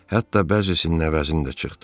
Hətta bəzisinin əvəzini də çıxdım.